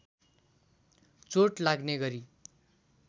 चोट लाग्ने गरी